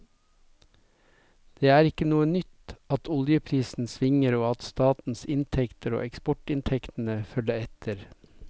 Det er ikke noe nytt at oljeprisen svinger og at statens inntekter og eksportinntektene følger etter.